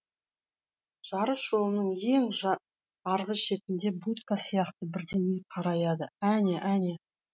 жарыс жолының ең арғы шетінде будка сияқты бірдеңе қараяды әне әне